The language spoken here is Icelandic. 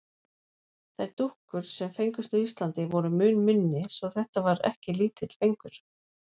Þær dúkkur, sem fengust á Íslandi, voru mun minni svo þetta var ekki lítill fengur.